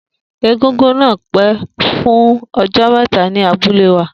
Egúngún náà pẹ́ fún ọjọ́ mẹ́ta ní abúlé wa